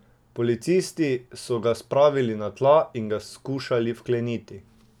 Policisti so ga spravili na tla in ga skušali vkleniti.